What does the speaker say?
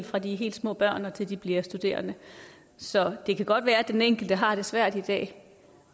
fra de er helt små børn og til de bliver studerende så det kan godt være at den enkelte har det svært i dag